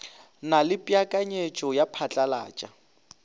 na le peakanyeto ya phatlalata